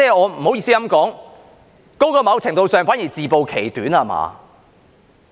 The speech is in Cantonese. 不好意思也要說，在某程度上，那反而是自暴其短，對嗎？